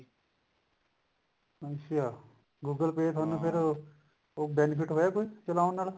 ਅੱਛਾ google pay ਤੁਹਾਨੂੰ ਫੇਰ ਕੋਈ benefit ਹੋਇਆ ਚਲਾਉਣ ਨਾਲ